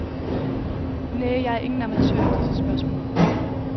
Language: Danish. Næh, jeg er ingen amatør i disse spørgsmål.